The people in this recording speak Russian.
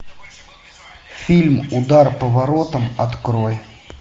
фильм удар по воротам открой